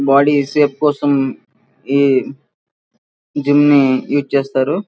Body shape కోసం ఈ gym నీ యూస్ చేస్తారు.